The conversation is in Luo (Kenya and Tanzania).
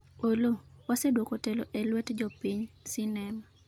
Oloo:waseduoko telo e luet jopiny, sinema